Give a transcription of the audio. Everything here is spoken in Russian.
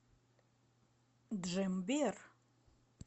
джембер